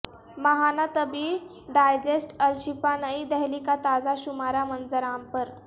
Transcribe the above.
ماہانہ طبی ڈائجسٹ الشفاء نئی دہلی کا تازہ شمارہ منظر عام پر